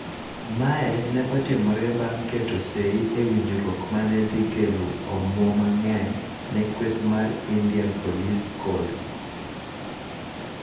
Mae ne otimore bang' keto sei e winjruok mane dhi kelo omwom mang'eny ne kweth mar Indianapolis Colts.